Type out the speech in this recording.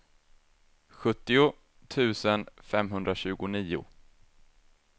sjuttio tusen femhundratjugonio